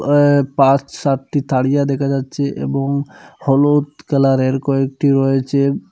way পাঁচ সাতটি তারিয়া দেখা যাচ্ছে এবং হলুদ কালারের কয়েকটি রয়েছে উম--